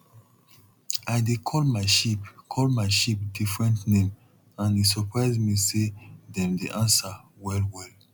i dey call my sheep call my sheep different name and e surprise me say dem dey answer well well